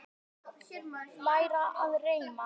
Læra að reima